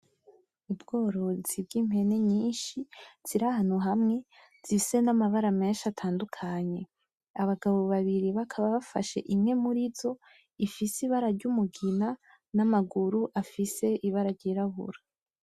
Ubworozi bw'Impene nyinshi ziri ahantu hamwe zifise n'amabara menshi atandukanye. Abagabo babiri bakaba bafashe imwe murizo ifise Ibara ry'Umugina n'Amaguru afise Ibara ry'irabura.